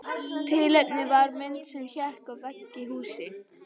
Tilefnið var mynd sem hékk á vegg í húsi.